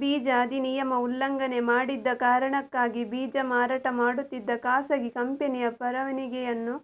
ಬೀಜ ಅಧಿನಿಯಮ ಉಲ್ಲಂಘನೆ ಮಾಡಿದ್ದ ಕಾರಣಕ್ಕಾಗಿ ಬೀಜ ಮಾರಾಟ ಮಾಡುತ್ತಿದ್ದ ಖಾಸಗಿ ಕಂಪೆನಿಯ ಪರವಾನಿಗೆಯನ್ನು